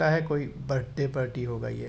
यह कोई birthday party होगा ये --